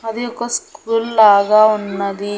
అది ఒక స్కూల్ లాగా ఉన్నది.